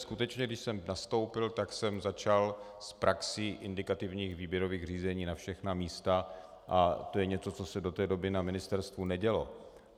Skutečně, když jsem nastoupil, tak jsem začal s praxí indikativních výběrových řízení na všechna místa a to je něco, co se do té doby na ministerstvu nedělo.